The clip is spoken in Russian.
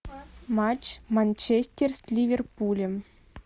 матч манчестер с ливерпулем